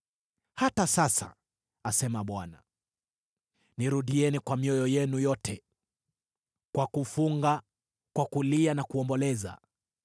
“Hata sasa,” asema Bwana , “nirudieni kwa mioyo yenu yote, kwa kufunga, kwa kulia na kuomboleza.”